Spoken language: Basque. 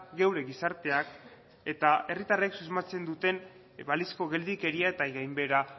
geure gizarteak eta herritarrek susmatzen duten balizko geldikeria eta gainbehera